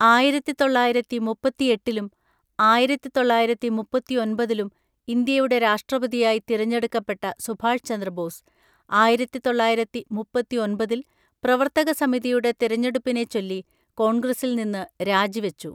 ആയിരത്തി തൊള്ളായിരത്തി മുപ്പത്തിഎട്ടിലും ആയിരത്തി തൊള്ളായിരത്തി മുപ്പത്തിഒന്‍പതിലും ഇന്ത്യയുടെ രാഷ്ട്രപതിയായി തിരഞ്ഞെടുക്കപ്പെട്ട സുഭാഷ് ചന്ദ്രബോസ്, ആയിരത്തി തൊള്ളായിരത്തി മുപ്പത്തി ഒൻപതിൽ പ്രവർത്തക സമിതിയുടെ തിരഞ്ഞെടുപ്പിനെച്ചൊല്ലി കോൺഗ്രസിൽ നിന്ന് രാജിവച്ചു.